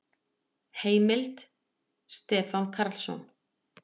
Heimild: Stefán Karlsson.